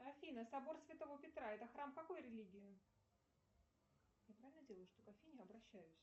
афина собор святого петра это храм какой религии я правильно делаю что к афине обращаюсь